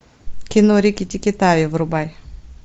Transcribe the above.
кино рикки тикки тави врубай